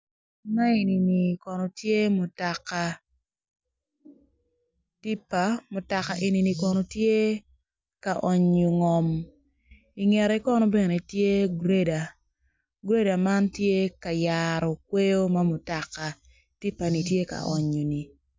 Ma enini kono tye mutoka mutoka tipa mutoka eni kono tye ka onyo ngom i ngete kono tye greader man tye ka yaro kweyo ma mutoka tipa ni tye ka onyo-ni.